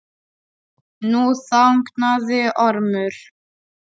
Nú þagnaði Ormur.